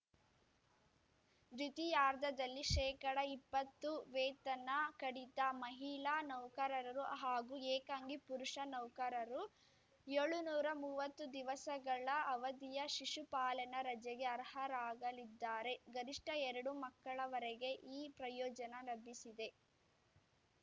ದ್ವಿತೀಯಾರ್ಧದಲ್ಲಿ ಶೇಕಡಇಪ್ಪತ್ತು ವೇತನ ಕಡಿತ ಮಹಿಳಾ ನೌಕರರು ಹಾಗೂ ಏಕಾಂಗಿ ಪುರುಷ ನೌಕರರು ಯೋಳು ನೂರು ಮುವತ್ತು ದಿವಸಗಳ ಅವಧಿಯ ಶಿಶುಪಾಲನಾ ರಜೆಗೆ ಅರ್ಹರಾಗಲಿದ್ದಾರೆ ಗರಿಷ್ಠ ಎರಡು ಮಕ್ಕಳವರೆಗೆ ಈ ಪ್ರಯೋಜನ ಲಭಿಸಿದೆ